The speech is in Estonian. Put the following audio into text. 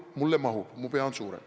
Mulle mahub, minu pea on suurem.